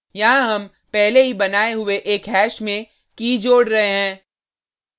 यहाँ हम पहले ही बनाये हुये एक हैश में की key जोड़ रहे हैं